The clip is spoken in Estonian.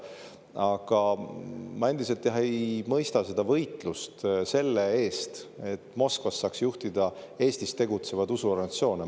Aga ma endiselt, jah, ei mõista seda võitlust selle eest, et Moskvast saaks juhtida Eestis tegutsevaid usuorganisatsioone.